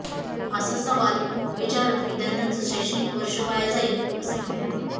असा सवाल विचारत विद्यार्थ्यांचं शैक्षणिक वर्ष वाया जाईल असं म्हटलं